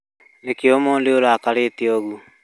Nĩkĩĩ ũmũthĩ ũrakarĩte ũguo?